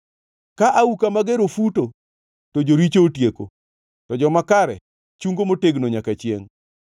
Ka auka mager ofuto, to joricho otieko; to joma kare chungo motegno nyaka chiengʼ.